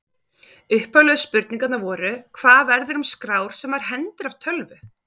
Upphaflegu spurningarnar voru: Hvað verður um skrár sem maður hendir af tölvu?